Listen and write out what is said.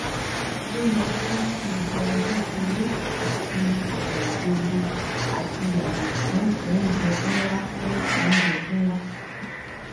o yẹ ki o jẹun kekere ati igbagbogbo ati yago fun ounjẹ nla fun ounjẹ nla